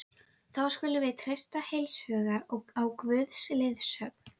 Þá skulum við treysta heilshugar á Guðs leiðsögn.